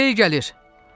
Sel gəlir!